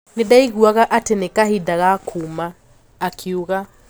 "Nindaiguaga ati ni kahinda ga kuuma", akiuga.